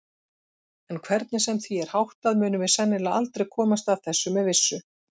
En hvernig sem því er háttað munum við sennilega aldrei komast að þessu með vissu.